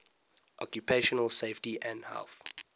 occupational safety and health